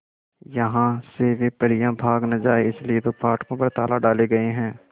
यहां से वे परियां भाग न जाएं इसलिए तो फाटकों पर ताले डाले गए हैं